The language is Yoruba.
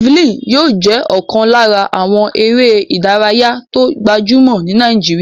Jafalínì yóò jẹ́ ọ̀kan lára àwọn eré ìdárayá tó gbajúmọ̀ ní Nàìjíríyà